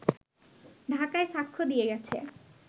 ঢাকায় সাক্ষ্য দিয়ে গেছে